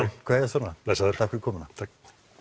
kveðjast svona blessaður takk fyrir komuna takk